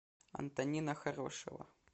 антонина хорошева